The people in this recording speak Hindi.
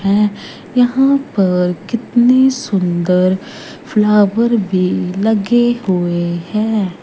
है यहां पर कितनी सुंदर फ्लावर भी लगे हुए हैं।